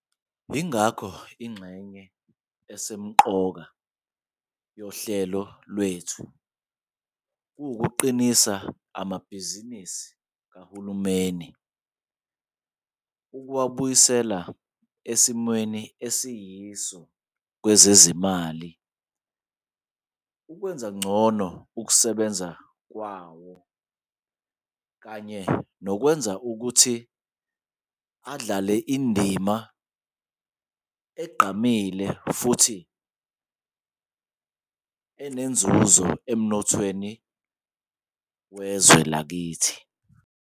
Yingakho ingxenye esemqoka yohlelo lwethu kuwukuqinisa amabhizinisi kahulumeni, ukuwabuyisela esimweni esiyiso sezezimali, ukwenza ngcono ukusebenza kwawo kanye nokwenza ukuthi adlale indima egqamile futhi enenzuzo emnothweni wezwe lakithi.